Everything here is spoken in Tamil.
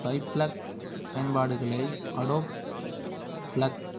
ஃப்ளெக்ஸ் பயன்பாடுகளை அடோப் ஃப்ளெக்ஸ்